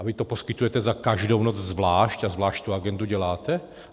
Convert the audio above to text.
A vy to poskytujete za každou noc zvlášť a zvlášť tu agendu děláte?